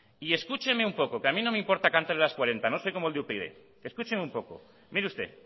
y escúcheme un poco que a mí no me importan cantarle las cuarenta no soy como el de upyd escúcheme un poco mire usted